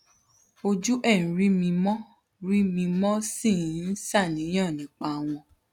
ojú ẹ ń rí mi mo rí mi mo sì ń ṣàníyàn nípa wọn